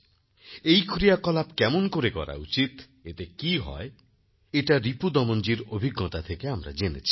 এই ক্রিয়াকলাপ কেমন করে করা উচিত এতে কি হয় এটা রিপু দমনজীর অভিজ্ঞতা থেকে আমরা জেনেছি